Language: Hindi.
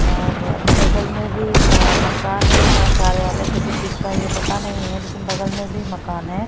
और बगल में भी अ मकान है यह कार्यालय किसी चीज का है ये पता नहीं है लेकिन बगल में भी मकान है।